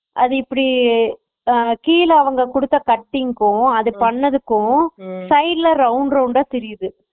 அது இப்படி கீழ அவங்க குடுத்த பட்டிக்கும் அத பண்ணதுக்கும் side ல round round ட தெரியுது